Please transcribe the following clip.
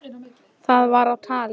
Það var á tali.